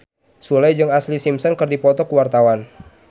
Sule jeung Ashlee Simpson keur dipoto ku wartawan